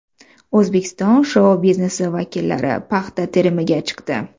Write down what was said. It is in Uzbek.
O‘zbekiston shou-biznesi vakillari paxta terimiga chiqdi.